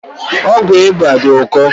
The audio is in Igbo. Ọgwụ ịba dị ụkọ